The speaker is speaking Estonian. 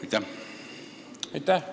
Aitäh!